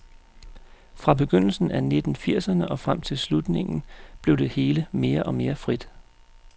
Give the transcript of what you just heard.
Fra begyndelsen af nitten firserne og frem til slutningen, blev det hele mere og mere frit.